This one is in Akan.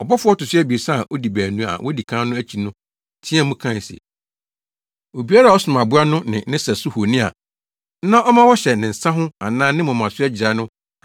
Ɔbɔfo a ɔto so abiɛsa a odi baanu a wodi kan no akyi no teɛɛ mu kae se, “Obiara a ɔsom aboa no ne ne sɛso honi a na ɔma wɔhyɛ ne nsa ho anaa ne moma so agyirae